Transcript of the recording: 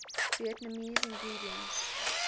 vietnamese ingredients